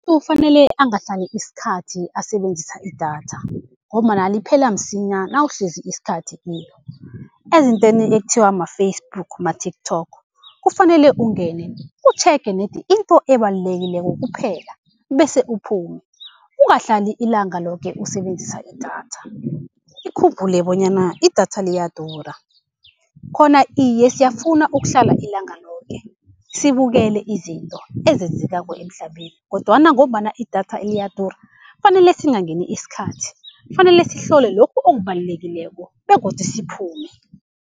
Kuzofanele angahlali isikhathi asebenzisa idatha, ngombana liphela msinya nawuhlezi isikhathi kilo. Ezintweni ekuthiwa ma-Facebook, ma-TikTok kufanele ungene utjhege nedi into ebalulekileko kuphela, bese uphume. Ungahlali ilanga loke usebenzisa idatha. Ukhumbule bonyana idatha liyadura. Khona iye siyafuna ukuhlala ilanga loke, sibukele izinto ezenzekako emhlabeni kodwana ngombana idatha liyadura kufanele singangeni isikhathi, kufanele sihlole lokhu okubalulekileko begodu siphume.